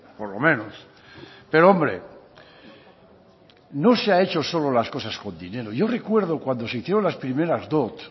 por lo menos pero hombre no se ha hecho solo las cosas con dinero yo recuerdo cuando se hicieron las primeras dot